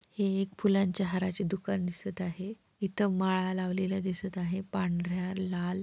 हे एक फुलांच्या हाराचे दुकान दिसत आहे. इथ माळा लावलेल्या दिसत आहे. पांढर्‍या लाल--